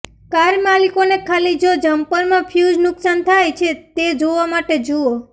car માલિકોને ખાલી જો જમ્પર માં ફ્યુઝ નુકસાન થાય છે તે જોવા માટે જુઓ